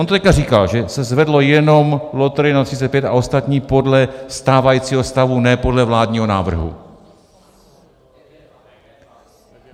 On to teď říkal, že se zvedlo jenom loterie na 35 a ostatní podle stávajícího stavu, ne podle vládního návrhu.